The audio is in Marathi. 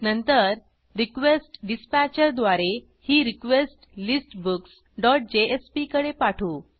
नंतर रिक्वेस्टडिस्पॅचर द्वारे ही रिक्वेस्ट listbooksजेएसपी कडे पाठवू